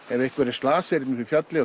ef einhver er slasaður upp á fjalli og